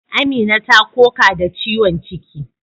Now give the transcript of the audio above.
Amina ta koka da ciwon ciki.